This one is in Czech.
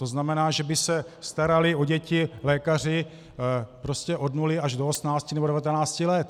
To znamená, že by se starali o děti lékaři prostě od nuly až do osmnácti nebo devatenácti let.